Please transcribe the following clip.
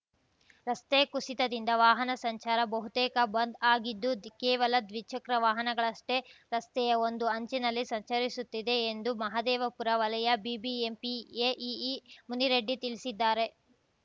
ರಸ್ತೆ ಕುಸಿತದಿಂದ ವಾಹನ ಸಂಚಾರ ಬಹುತೇಕ ಬಂದ್‌ ಆಗಿದ್ದು ಕೇವಲ ದ್ವಿಚಕ್ರ ವಾಹನಗಳಷ್ಟೇ ರಸ್ತೆಯ ಒಂದು ಅಂಚಿನಲ್ಲಿ ಸಂಚರಿಸುತ್ತಿದೆ ಎಂದು ಮಹಾದೇವಪುರ ವಲಯ ಬಿಬಿಎಂಪಿ ಎಇಇ ಮುನಿರೆಡ್ಡಿ ತಿಳಿಸಿದ್ದಾರೆ